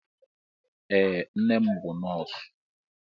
Ee, nne m bụ nọọsụ.